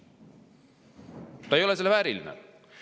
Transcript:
Ta ei ole selle vääriline!